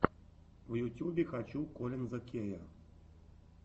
в ютюбе хочу коллинза кея